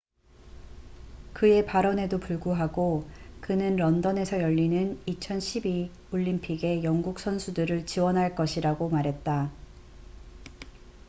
그의 발언에도 불구하고 그는 런던에서 열리는 2012 올림픽에 영국 선수들을 지원할 것이라고 말했다